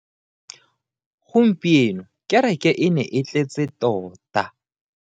Gompieno kereke e ne e tletse tota.